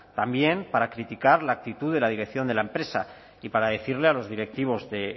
también para criticar la actitud de la dirección de la empresa y para decirle a los directivos de